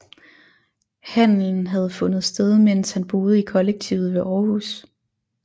Handelen havde fundet sted mens han boede i kollektivet ved Århus